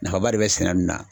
Nafaba de bɛ sɛnɛ nin na